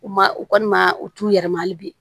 U ma u kɔni ma u t'u yɛrɛ ma hali bi